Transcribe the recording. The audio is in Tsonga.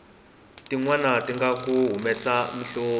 tinwani tinga ku humesa mihloti